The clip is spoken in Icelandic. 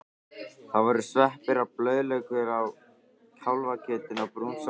Það voru sveppir og blaðlaukur með kálfakjötinu og brún sósa.